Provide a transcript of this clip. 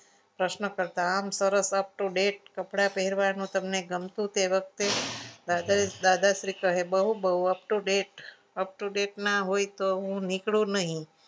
પ્રશ્નકર્તા આમ સરસ up to date કપડા કપડા પહેરવાનું ગમતું હતું એ વખતે દાદાશ્રી કહે બહુ બહુ up to date up to date ના હોય તો હું નીકળું નહીં.